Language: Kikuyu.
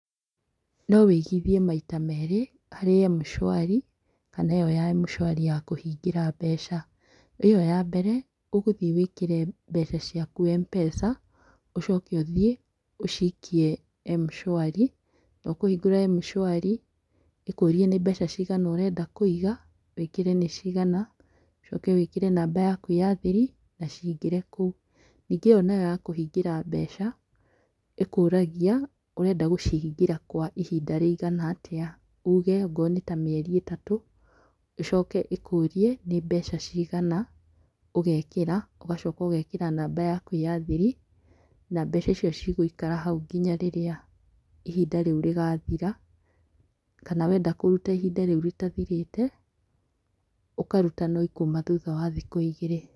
Nowĩigithie maita merĩ, harĩ M-shwari kana ĩo M-shwari ya kũhingĩra mbeca . ĩo ya mbere, ũgũthiĩ wĩkĩre mbeca ciaku M-pesa, ũcoke ũthiĩ ũcikie M-shwari. Nokũhingũra M-shwari, ĩkũrie nĩmbeca cigana ũrenda kũiga, wĩkĩre nĩcigana, ũcoke wĩkĩre namba yaku ya thiri, nacingĩre kũu. Ningĩ ĩo nayo yakũhingĩra mbeca, ĩkũragia ũrenda gũcihingĩra kwaihinda rĩigana atĩa, uge ongoo nĩtamĩeri ĩtatũ, ĩcoke ĩkũrie nĩ mbeca cigana, ũgekĩra, ũgacoka ũgekĩra namba yaku ya thiri, na mbeca icio cigũikara hau nginya rĩrĩa inhinda rĩu rĩgathira. Kana wenda kũruta ihinda rĩu rĩtathirĩte. ũkaruta no ikuma thutha wa thikũ igĩrĩ.